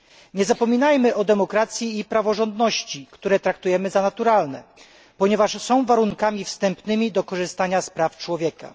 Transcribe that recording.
Nie zapominajmy o demokracji i praworządności, które traktujemy jako naturalne, ponieważ są warunkami wstępnymi do korzystania z praw człowieka.